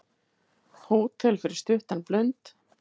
Hótel fyrir stuttan blund